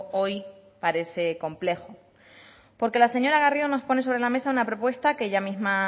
hoy parece complejo porque la señora garrido nos pone sobre la mesa una propuesta que ella misma